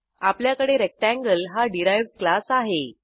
आपल्याकडे रेक्टेंगल हा derived class आहे